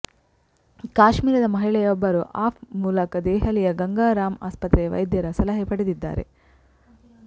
ಕಾಶ್ಮೀರದ ಮಹಿಳೆಯೊಬ್ಬರು ಆಪ್ ಮೂಲಕ ದೆಹಲಿಯ ಗಂಗಾ ರಾಮ್ ಆಸ್ಪತ್ರೆಯ ವೈದ್ಯರ ಸಲಹೆ ಪಡೆದಿದ್ದಾರೆ